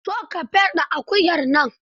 Zo ka feɗe akuyar nan.